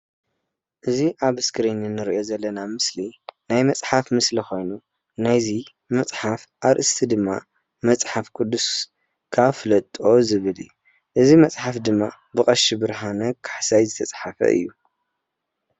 እዚ ኣብ እስክሪን እንሪኦ ዘለና ምስሊ ናይ መፅሓፍ ምስሊ ኮይኑ ናይ እዚ መፅሓፍ ኣርእስቲ ድማ መፅሓፍ ቁዱስካ ፍለጦ ዝብል እዩ፡፡ እዚ መፅሓፍ ቁዱስ ድማ ብቀሺ ብርሃነ ካሕሳይ ዝተፃሓፈ እዩ፡፡